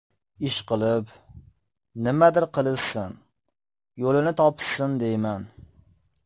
Ishqilib, nimadir qilishsin, yo‘lini topishsin deyman.